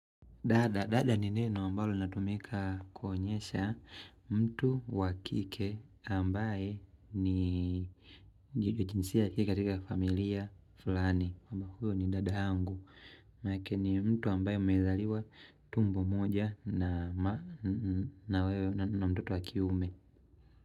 Dada, dada ni neno ambalo ninatumika kuonyesha mtu wa kike ambaye ni jinsia ya kike katika familia fulani huyo ni dada yangu, na kenye mtu ambaye mmezaliwa tumbo moja na ma na wewe na mtoto wa kiume.